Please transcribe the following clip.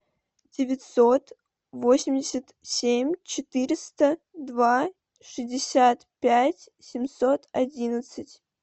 девятьсот восемьдесят семь четыреста два шестьдесят пять семьсот одиннадцать